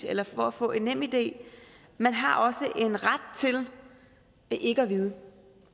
eller for at få en nemid man har også en ret til ikke at vide